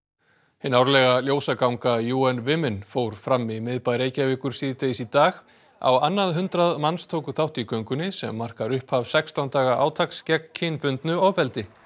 hin árlega ljósaganga UN Women fór fram í miðbæ Reykjavíkur síðdegis í dag á annað hundrað manns tóku þátt í göngunni sem markar upphaf sextán daga átaks gegn kynbundnu ofbeldi